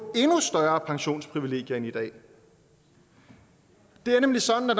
endnu større pensionsprivilegier end i dag det er nemlig sådan at